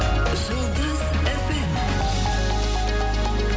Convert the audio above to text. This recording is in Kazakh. жұлдыз эф эм